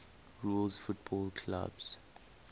rules football clubs